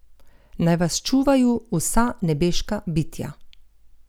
Naj vas čuvaju vsa nebeška bitja!